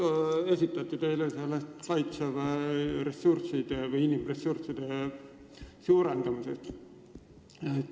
Äsja esitati teile küsimus Kaitseväe ressursside või inimressursside suurendamise kohta.